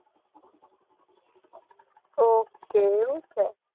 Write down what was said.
ઓહ્હ એવું છે